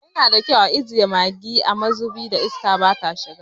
Yana da kyau a ajiye maggi a mazubin da iska bata shiga.